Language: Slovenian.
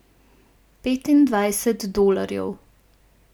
Petindvajset dolarjev.